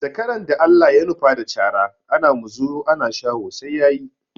Zakaran da Allah ya nufa da cara, ana muzuru ana shaho sai ya yi.